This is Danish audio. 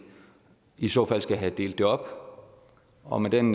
i så fald skal have delt det op og med den